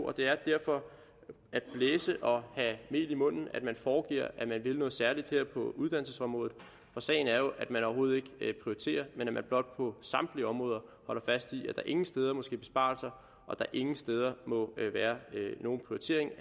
og det er derfor at blæse og have mel i munden når man foregiver at man vil noget særligt på uddannelsesområdet sagen er jo at man overhovedet ikke prioriterer men at man blot på samtlige områder holder fast i at der ingen steder må ske besparelser og at der ingen steder må være nogen